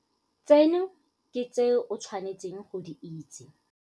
Tseno ke tse o tshwane tseng go di itse.